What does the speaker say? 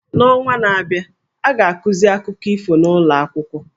N’ọnwa na-abịa, a ga-akụzi akụkọ ifo n’ụlọ akwụkwọ.